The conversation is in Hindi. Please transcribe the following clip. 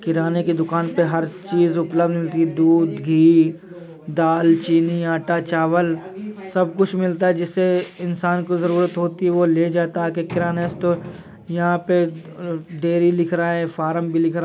किराणे की दुकान पर हर चीज़ उपलब्ध मिलती है| दूध घी दाल चीनी अट्टा चावल सब कुछ मिलता है| जिससे इन्सान को जरुरत होती है वो ले जाता है आके किरणे स्टॉर यह पे मम डेरी लिख रहा है| फ़रम भी लिख--